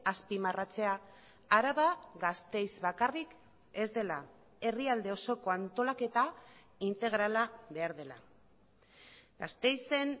azpimarratzea araba gasteiz bakarrik ez dela herrialde osoko antolaketa integrala behar dela gasteizen